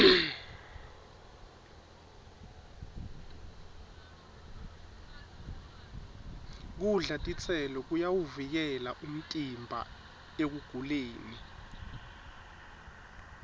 kudla titselo kuyawuvikela umtimba ekuguleni